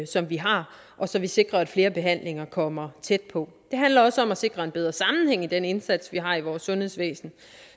som vi har så vi sikrer at flere behandlinger kommer tæt på det handler også om at sikre en bedre sammenhæng i den indsats vi har i vores sundhedsvæsen